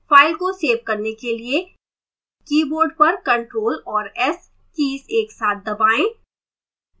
file को save करने के लिए keyboard पर ctrl और s कीज एक साथ दबाएं